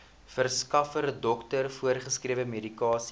verskaffer dokter voorgeskrewemedikasie